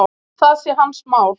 Það sé hans mál.